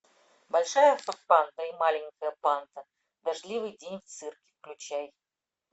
большая панда и маленькая панда дождливый день в цирке включай